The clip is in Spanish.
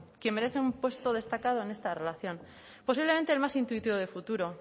quien merece un puesto destacado en esta relación posiblemente el más intuitivo de futuro